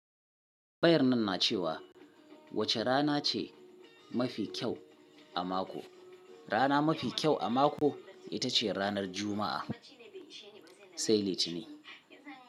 Bayarnan na cewa wace ranace mafi kyau a mako. Rana mafi kyau a mako itace ranar Juma'a. Sai Litinin.